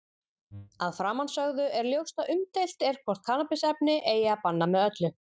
Af framansögðu er ljóst að umdeilt er hvort kannabisefni eigi að banna með öllu.